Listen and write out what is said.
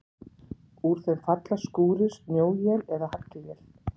Úr þeim falla skúrir, snjóél eða haglél.